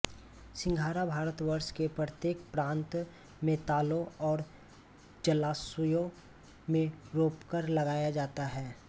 सिंघाड़ा भारतवर्ष के प्रत्येक प्रांत में तालों और जलाशयों में रोपकर लगाया जाता है